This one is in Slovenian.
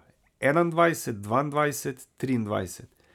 Enaindvajset, dvaindvajset, triindvajset.